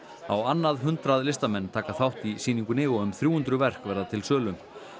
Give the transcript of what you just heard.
á annað hundrað listamenn taka þátt í sýningunni og um þrjú hundruð verk verða til sölu